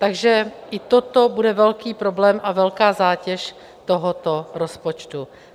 Takže i toto bude velký problém a velká zátěž tohoto rozpočtu.